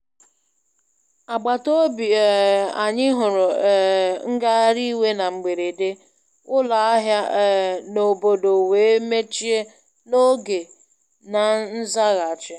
Agbataobi um anyị huru um ngagharị iwe na mberede, ụlọ ahịa um na obodo wee mechie n'oge na nzaghachi.